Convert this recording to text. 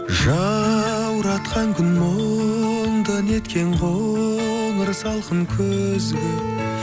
жауратқан күн мұнда неткен қоңыр салқын күзгі